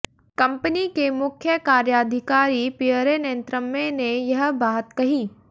company के मुख्य कार्याधिकारी पियरे नैंतरमे ने यह बात कही